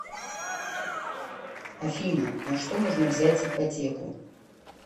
афина на что можно взять ипотеку